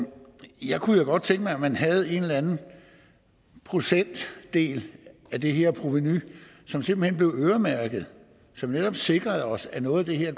kunne jo godt tænke mig at man havde en eller anden procentdel af det her provenu som simpelt hen blev øremærket og som netop sikrede os at noget af det her